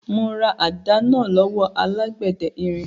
Mo ra àdá náà lọ́wọ́ alágbẹ̀dẹ irin.